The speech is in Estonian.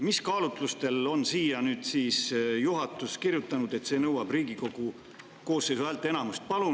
Mis kaalutlustel on juhatus siia siis kirjutanud, et see nõuab Riigikogu koosseisu häälteenamust?